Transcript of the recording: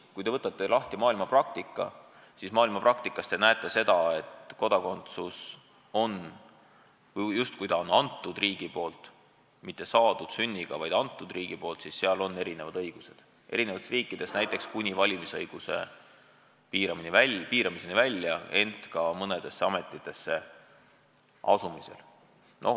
Kui te võtate maailmapraktika, siis näete, et kui kodakondsus on antud riigi poolt, mitte saadud sünniga, siis inimestel on eri riikides erinevad õigused – kuni valimisõiguse piiramiseni välja, samuti mõnedesse ametitesse asumisel.